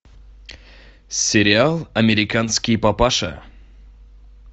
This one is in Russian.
сериал американский папаша